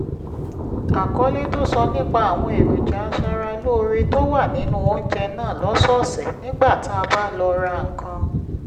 àkọlé tó sọ nípa àwọn èròjà aṣaralóore tó wà nínú oúnjẹ náà lọ́sọ̀ọ̀sẹ̀ nígbà tá a bá lọ ra nǹkan